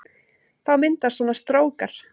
Þá myndast svona strókar